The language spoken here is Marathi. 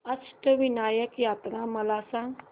अष्टविनायक यात्रा मला सांग